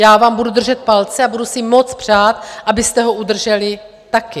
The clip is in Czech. Já vám budu držet palce a budu si moc přát, abyste ho udrželi taky.